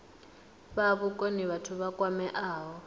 fha vhukoni vhathu vha kwameaho